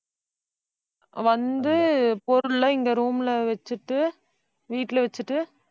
வந்து பொருள்லாம் இங்க room ல வச்சுட்டு வீட்டுல வச்சுட்டு